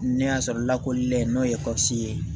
N'a y'a sɔrɔ lakɔlilen n'o ye ye